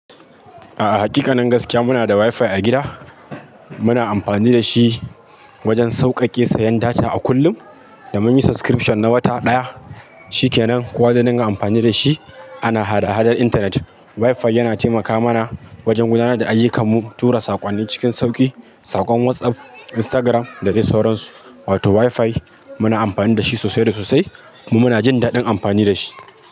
A'a hakikanin gaskiya muna da wifi a gida. Muna amfani da shi wajen sauƙaƙe sayan data a kullum, da munyi subscription na wata ɗaya, shi ke nan kuwa da naga amfani dashi ana hada-hadar intanet. Wifi yana taimaka mana wajen gudanar da ayyukanmu, tura saƙonni cikin sauƙi, saƙon whatsapp, instagram da dai sauransu. Wato wifi muna amfani da shi sosai da sosai kuma muna jin daɗin amfani da shi.